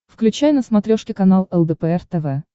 включай на смотрешке канал лдпр тв